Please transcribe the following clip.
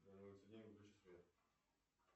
выключи свет